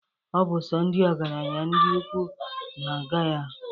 Ọ bụ sọ ndị ọgaranya na ndị ukwu na-aga ya.